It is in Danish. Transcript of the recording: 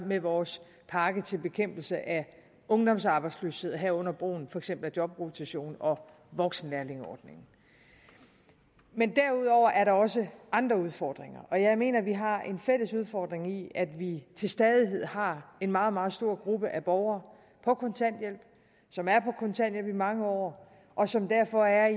med vores pakke til bekæmpelse af ungdomsarbejdsløshed herunder brugen af for eksempel jobrotation og voksenlærlingeordningen derudover er der også andre udfordringer og jeg mener at vi har en fælles udfordring i at vi til stadighed har en meget meget stor gruppe borgere på kontanthjælp som er på kontanthjælp i mange år og som derfor er